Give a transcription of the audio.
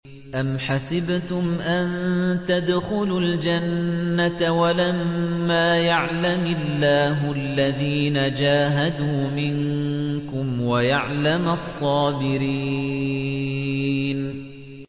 أَمْ حَسِبْتُمْ أَن تَدْخُلُوا الْجَنَّةَ وَلَمَّا يَعْلَمِ اللَّهُ الَّذِينَ جَاهَدُوا مِنكُمْ وَيَعْلَمَ الصَّابِرِينَ